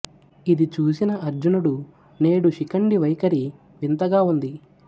ఇది చూసిన అర్జునుడు నేడు శిఖండి వైఖరి వింతగా ఉంది